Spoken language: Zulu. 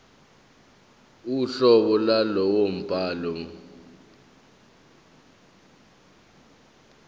uhlobo lwalowo mbhalo